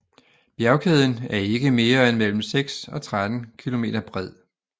Bjergkæden er ikke mere end mellem 6 og 13 kilometer bred